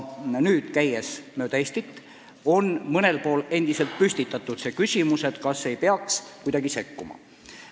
Kui ma olen mööda Eestit käinud, siis on mõnel pool endiselt püstitatud küsimus, kas ei peaks kuidagi sekkuma.